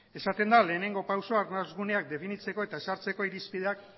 esaten da lehenengo pausua arnas guneak definitzeko eta ezartzeko irizpideak